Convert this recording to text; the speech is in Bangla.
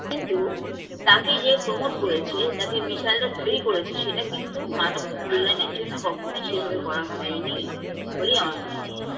কিন্তু তাকে যে promote করেছে তাকে missile -টা তৈরি করেছে সেটা কিন্তু মানব কল্যাণের জন্য কখনোই সেভাবে করা হয়নি বলেই আমরা মনে হয়